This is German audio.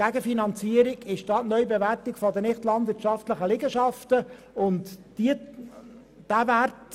Als Gegenfinanzierung ist die Neubewertung der nicht-landwirtschaftlichen Liegenschaften vorgesehen.